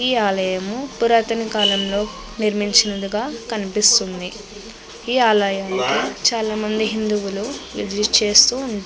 ఈ ఆలయము పురాతన కాలంలో నిర్మించినదిగ కనిపిస్తుంది. ఈ ఆలయంలో చాలా మంది హిందువులు విసిట్ చేస్తూ ఉం --